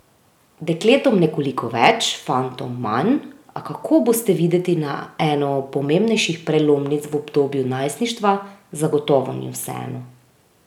Dekletom nekoliko več, fantom manj, a kako boste videti na eno pomembnejših prelomnic v obdobju najstništva, zagotovo ni vseeno.